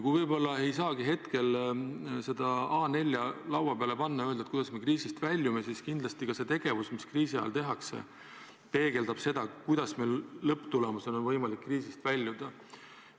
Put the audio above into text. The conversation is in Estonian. Kui võib-olla ei saagi hetkel seda A4 laua peale panna ja öelda, et kuidas me kriisist väljume, siis kindlasti ka see tegevus, mis kriisi ajal tehakse, peegeldab seda, kuidas meil lõpptulemusena on võimalik kriisist väljuda.